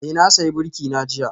Eh, na sayi birki na jiya